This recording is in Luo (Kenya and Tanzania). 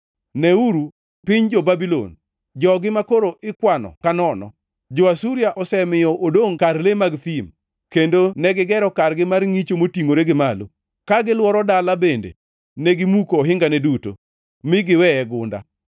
Neuru piny jo-Babulon, jogi makoro ikwano ka nono! Jo-Asuria osemiyo odongʼ kar le mag thim; kendo negigero kargi mar ngʼicho motingʼore gi malo, ka gilworo dala bende negimuko ohingane duto mi giweye gunda.